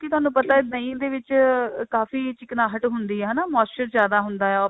ਕਿ ਤੁਹਾਨੂੰ ਪਤਾ ਦਹੀਂ ਦੇ ਵਿੱਚ ਕਾਫੀ ਚਿਕਨਾਹਟ ਹੁੰਦੀ ਹੈ ਹਨਾ moisturizer ਜਿਆਦਾ ਹੁੰਦਾ